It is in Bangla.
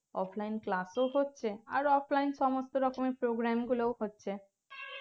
offline class ও হচ্ছে আর offline সমস্থ রকমের programme গুলোও হচ্ছে